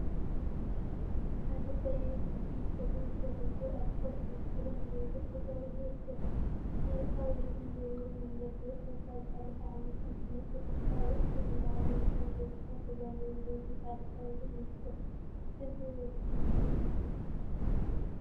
ሓደ ቀይሕ ወዲ ፀጉሩ ፈሪዙ አልኮል ሕብሪ ክዳን ገይሩ ጠጠው ኢሉ ይርከብ፡፡ ናይ ፃውዒትን ዝውውርን መንገዲ ወፃኢ ካብ ዝሓለፈ ዓመት እንትነፃፀር ካብ ዕፅፊ ንላዕሊ ከም ዝወሰከ ተዛሩቡ ዝብል ብፃዕዳ ሕብሪ ይርከብ፡፡ እዚ ወዲ መን ይበሃል?